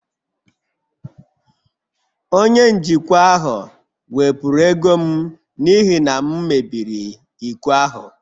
Onye njikwa ahụ wepụrụ ego m n'ihi na m mebiri iko ahụ